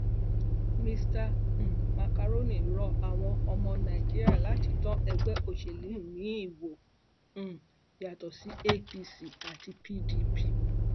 mr um macaroni rọ àwọn ọmọ nàìjíríà láti dán ẹgbẹ òsèlú miín wò um yàtọ sí apc àti pdp